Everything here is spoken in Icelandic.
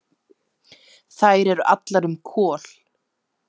Þær eru allar um Kol.